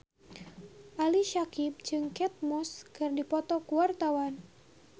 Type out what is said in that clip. Ali Syakieb jeung Kate Moss keur dipoto ku wartawan